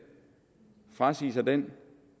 frasige sig den